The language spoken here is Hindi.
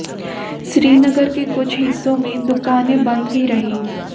श्रीनगर के कुछ हिस्सों में दुकानें बंद भी रहीं